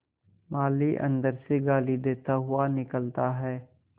माली अंदर से गाली देता हुआ निकलता है